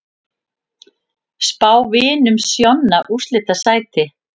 Spá Vinum Sjonna úrslitasæti